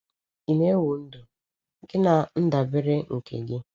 Ị na-ewu ndụ gị na ndabere nke gị?